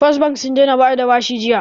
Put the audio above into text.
First bank sun daina bada bashi jiya